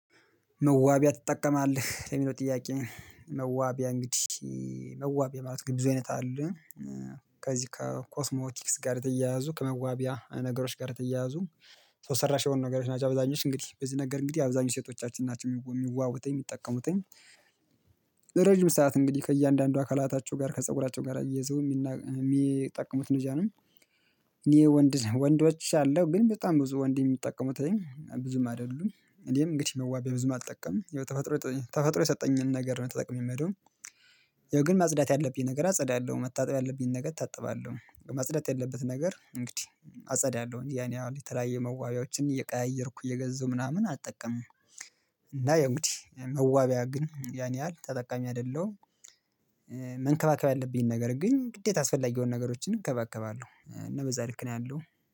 መዋቢያ ትጠቀማለህ? ለሚለው ጥያቄ መዋቢያ እንግዲህ መዋቢያ ማለት ብዙ አይነት አለ ከዚህ ከኮስሞቲክስ ጋር ተያይዞ ከመዋቢያ ነገሮች ጋር ተያይዞ ሰራሽ የሆኑ ነገሮች ናቸው። አብዛኞቹ እንግዲህ በዚህ ነገር እንግዲህ አብዛኞቹ ሴቶቻችን ናቸው የሚዋውበት የሚጠቀሙበት። ረጅም ሰዓት እንግዲህ ከእያንዳንዱ አካላታቸው ጋር ከፀጉራቸው ጋር አያይዘው የሚጠቀሙት እንደዛ ነው። እኔ ወንድ ነኝ ወንዶች አለ ግን በጣም ብዙ ወንድ የሚጠቀሙት ላይ ብዙም አይደሉም። እኔም እንግዲህ መዋቢያ ብዙም አልጠቀምም። ተፈጥሮ የሰጠኝን ነገር ነው ተጠቅሜ ምሄደው። ያው ግን ማጽዳት ያለብኝን ነገር አጸዳለሁ። መታጠብ ያለብኝን ነገር እታጠባለሁ። ማጽዳት ያለብኝን ነገር እንግዲህ አጸዳለሁ። ያን ያህል የተለያየ መዋቢያዎችን እየቀያየርኩ እየገዛሁ ምናምን አልጠቀምም። ያዎ እንግዲህ መዋቢያ ግን ያን ያህል ተጠቃሚ አይደለሁም። መንከባከብ ያለብኝን ነገር ግን ግዴታ አስፈላጊ የሆኑ ነገሮችን እንከባከባለሁ። እና በዛ ልክ ነው ያለው።